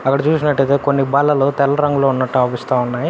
అక్కడ చూసినట్లయితే కొన్ని బల్లలు తెల్ల రంగు లో అగుపిస్తా ఉన్నాయి.